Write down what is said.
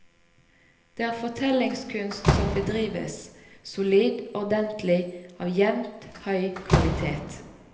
Det er fortellingskunst som bedrives, solid, ordentlig, av jevnt høy kvalitet.